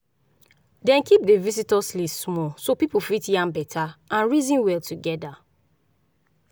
dem keep the vistors list small so people fit yarn better and reason well together.